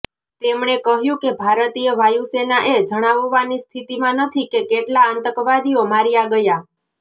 તેમણે કહ્યું કે ભારતીય વાયુ સેના એ જણાવવાની સ્થિતિમાં નથી કે કેટલા આતંકવાદીઓ માર્યા ગયા